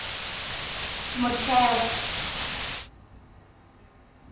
motheo